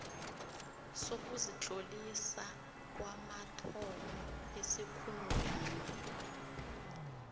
sokuzitlolisa kwamathomo esikhungweni